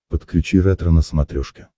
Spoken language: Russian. подключи ретро на смотрешке